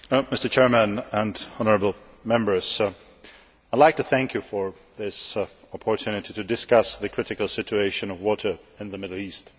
Mr President, honourable Members, I would like to thank you for this opportunity to discuss the critical situation of water in the Middle East.